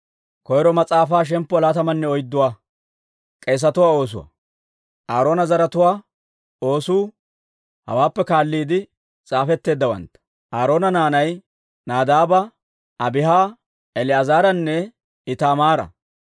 Aaroona zaratuwaa oosuu hawaappe kaalliide s'aafetteeddawantta. Aaroona naanay Nadaaba, Abiiha, El"aazaranne Itaamaara.